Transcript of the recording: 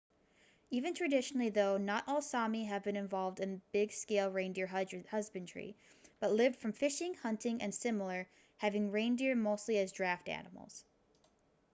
even traditionally though not all sámi have been involved in big scale reindeer husbandry but lived from fishing hunting and similar having reindeer mostly as draft animals